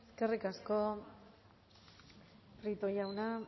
eskerrik asko prieto jauna